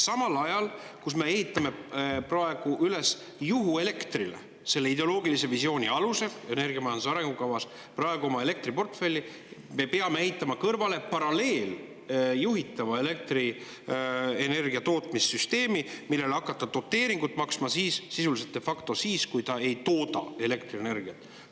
Samal ajal, kui me ehitame selle ideoloogilise visiooni alusel, mis energiamajanduse arengukavas on, praegu oma elektriportfelli üles juhuelektrile, me peame ehitama kõrvale paralleelse juhitava elektrienergia tootmise süsteemi, millele hakata sisuliselt, de facto doteeringut maksma, kui ta ei tooda elektrienergiat.